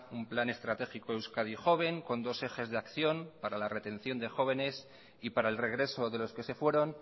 un plan estratégico euskadi joven con dos ejes de acción para la retención de jóvenes y para el regreso de los que se fueron